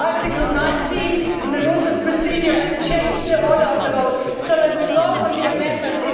Rule 19 in the Rules of Procedure and change the order of the vote so that we vote on the amendments.